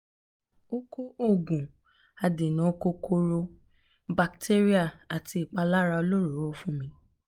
ó kọ òògùn um adènà kòkòrò um batéríà àti ìpara olóròóró um fún mi